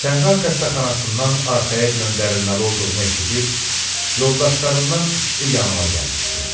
Səhra xəstəxanasından arxaya göndərilməli olduğumu eşidib yoldaşlarımdan ikisi yanıma gəlmişdi.